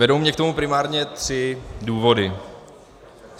Vedou mě k tomu primárně tři důvody.